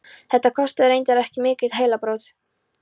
Þetta kostaði reyndar ekki mikil heilabrot.